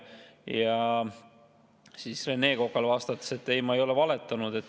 Ja Rene Kokale vastates: ei, ma ei ole valetanud.